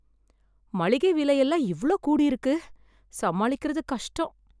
மளிகை விலை எல்லாம் இவ்ளோ கூடி இருக்கு.... சமாளிக்கிறது கஷ்டம்.